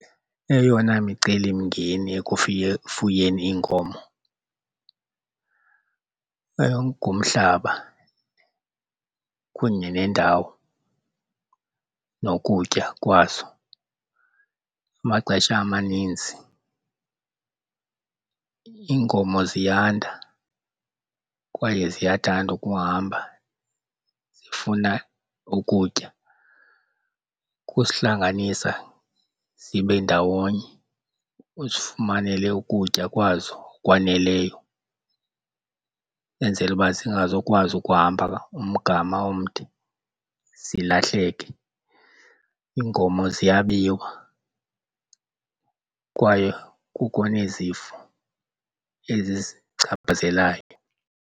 Eyona micelimngeni ekufuyeni iinkomo ngumhlaba kunye nendawo nokutya kwazo. Amaxesha amaninzi iinkomo ziyanda kwaye ziyathanda ukuhamba zifuna ukutya, kusihlanganisa zibe ndawonye uzifumanele ukutya kwazo okwaneleyo enzele uba zingazokwazi ukuhamba umgama omde zilahleke. Iinkomo ziyabiwa kwaye kukho nezifo ezizichaphazelayo.